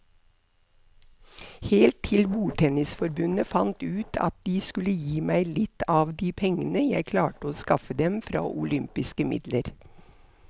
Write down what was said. Helt til bordtennisforbundet fant ut at de skulle gi meg litt av de pengene jeg klarte å skaffe dem fra olympiske midler.